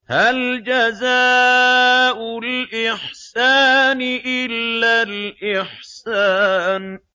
هَلْ جَزَاءُ الْإِحْسَانِ إِلَّا الْإِحْسَانُ